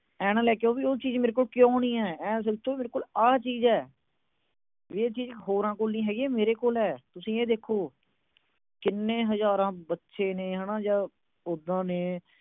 ਆਏ ਨਾ ਲੈ ਕੇ ਆਓ, ਮੇਰੇ ਕੋਲ ਉਹ ਚੀਜ ਨੀ ਹੈਗੀ। ਆਏ ਸੋਚੋ, ਮੇਰੇ ਕੋਲ ਆਹ ਐ। ਇਹ ਚੀਜ ਹੋਰਾਂ ਕੋਲ ਨੀ ਹੈਗੀ, ਇਹ ਮੇਰੇ ਕੋਲ ਆ। ਤੁਸੀਂ ਇਹ ਦੇਖੋ। ਕਿੰਨੇ ਹਜਾਰਾਂ ਬੱਚੇ ਨੇ ਜਾਂ ਉਦਾਂ ਨੇ।